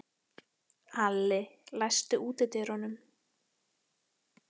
Alli, læstu útidyrunum.